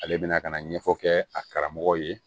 Ale bɛna ka na ɲɛfɔ kɛ a karamɔgɔw ye